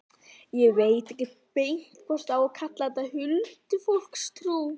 Ég veit ekki beint hvort á að kalla þetta huldufólkstrú.